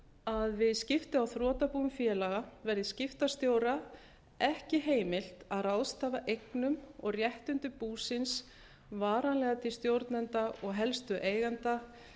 að við skipti á þrotabúum félaga verði skiptastjóra ekki heimilt að ráðstafa eignum og réttindum búsins varanlega til stjórnenda og helstu eigenda